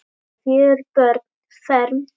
Fjögur börn fermd.